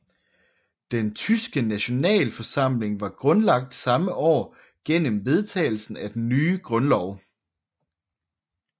Den tyske nationalforsamling var grundlagt samme år gennem vedtagelsen af den nye grundlov